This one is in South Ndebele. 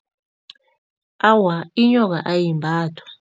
Awa, inyoka ayimbathwa.